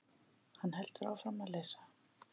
Hann heldur áfram að lesa: